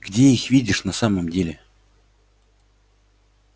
где их видишь на самом деле